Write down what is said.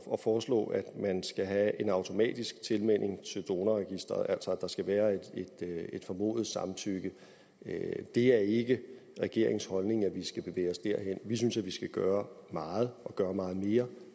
af at foreslå at man skal have en automatisk tilmelding til donorregistret altså at der skal være et formodet samtykke det er ikke regeringens holdning at vi skal bevæge os derhen vi synes at vi skal gøre meget og gøre meget mere